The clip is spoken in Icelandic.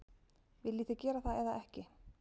Viljið þið gera það eða ekki?